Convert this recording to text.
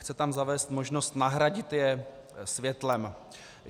Chce tam zavést možnost nahradit je světlem.